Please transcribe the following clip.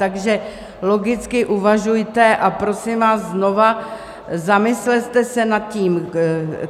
Takže logicky uvažujte a prosím vás znovu, zamyslete se nad tím.